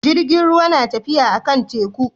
Jirgin ruwa na tafiya a kan teku